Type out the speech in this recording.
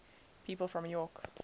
people from york